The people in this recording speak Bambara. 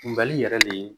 Kunbali yɛrɛ le ye